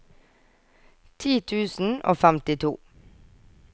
ti tusen og femtito